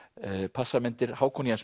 passamyndir Hákon Jens